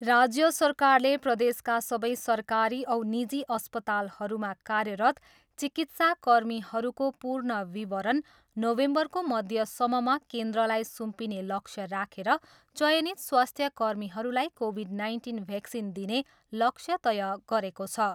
राज्य सरकारले प्रदेशका सबै सरकारी औ निजी अस्पतालहरूमा कार्यरत चिकित्सा कर्मीहरूको पूर्ण विवरण नोभेम्बरको मध्यसम्ममा केन्द्रलाई सुम्पिने लक्ष्य राखेर चयनित स्वास्थ्य कर्मीहरूलाई कोभिड नाइन्टिन भेक्सिन दिने लक्ष्य तय गरेको छ।